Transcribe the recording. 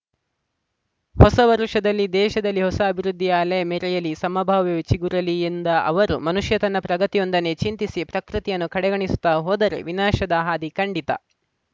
ಹೊಸ ವರುಷದಲ್ಲಿ ದೇಶದಲ್ಲಿ ಹೊಸ ಅಭಿವೃದ್ಧಿಯ ಅಲೆ ಮೆರೆಯಲಿ ಸಮಭಾವವೇ ಚಿಗುರಲಿ ಎಂದ ಅವರು ಮನುಷ್ಯ ತನ್ನ ಪ್ರಗತಿಯೊಂದನ್ನೇ ಚಿಂತಿಸಿ ಪ್ರಕೃತಿಯನ್ನು ಕಡೆಗಣಿಸುತ್ತಾ ಹೋದರೆ ವಿನಾಶದ ಹಾದಿ ಕಂಡಿತಾ